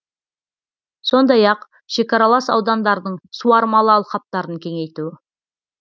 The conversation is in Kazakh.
сондай ақ шекаралас аудандардың суармалы алқаптарын кеңейту